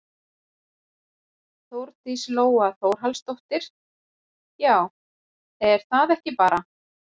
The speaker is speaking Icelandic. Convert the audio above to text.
Þórdís Lóa Þórhallsdóttir: Já er það ekki bara?